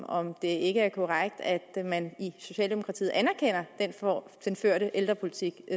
om det ikke er korrekt at man i socialdemokratiet anerkender den ældrepolitik